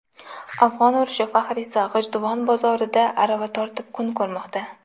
Afg‘on urushi faxriysi G‘ijduvon bozorida arava tortib kun ko‘rmoqda.